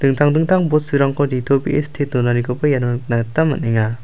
dingtang dingtang bosturangko nitobee site donanikoba iano nikna gita man·enga.